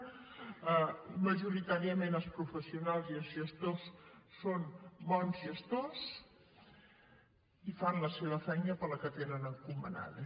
majoritàriament els professionals i els gestors són bons gestors i fan la seva feina la que tenen encomanada